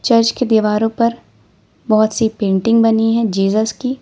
Church की दीवारों पर बहुत सी पेंटिंग बनी है जीजस की।